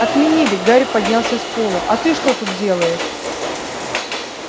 отменили гарри поднялся с пола а ты что тут делаешь